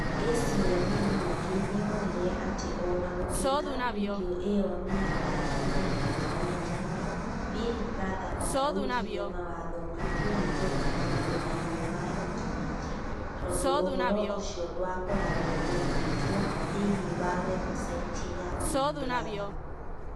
ACMA ningĩ nĩ yonire atĩ o na gũtuĩka video ĩyo nĩ yathararire Intaneti-inĩ, Big Brother ndaathũkirie mawatho ma kũhingũra maũndũ thĩinĩ wa Intaneti tondũ ũhoro ũcio ndwakoragwo ũigĩtwo thĩinĩ wa webusaiti ya Big Brother.